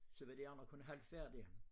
Så var de andre kun halvt færdige